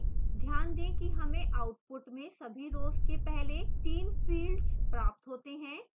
ध्यान दें कि हमें output में सभी rows के पहले तीन fields प्राप्त होते हैं